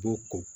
B'u ko